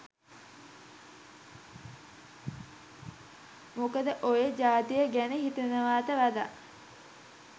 මොකද ඔය ජාතිය ගැන හිතනවට වඩා